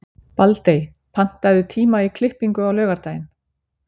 Baldey, pantaðu tíma í klippingu á laugardaginn.